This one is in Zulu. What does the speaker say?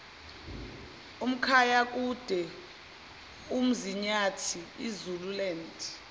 umkhanyakude umzinyathi izululand